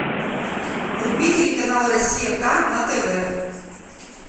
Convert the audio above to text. вруби телеканал россия к на тв